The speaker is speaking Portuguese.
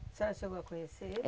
A senhora chegou a conhecer ele?